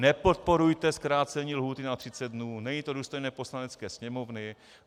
Nepodporujte zkrácení lhůty na 30 dnů, není to důstojné Poslanecké sněmovny.